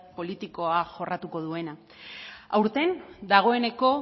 politikoa jorratuko duena aurten dagoeneko